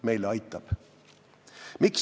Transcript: Meile aitab!